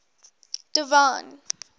divine